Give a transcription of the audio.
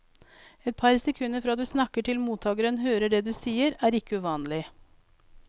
Et par sekunder fra du snakker til mottageren hører det du sier er ikke uvanlig.